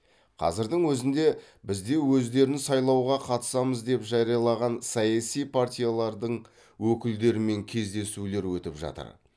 қазірдің өзінде бізде өздерін сайлауға қатысамыз деп жариялаған саяси партиялардың өкілдерімен кездесулер өтіп жатыр